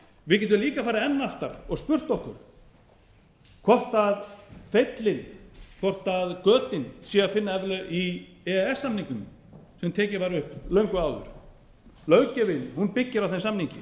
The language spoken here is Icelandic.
við getum líka farið enn aftar og spurt okkur hvort feilinn hvort götin sé að finna ef til vill í e e s samningnum sem tekinn var upp löngu áður löggjöfin byggir á þeim samningi